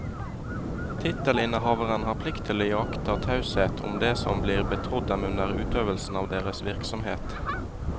Tittelinnehavere har plikt til å iaktta taushet om det som blir betrodd dem under utøvelse av deres virksomhet.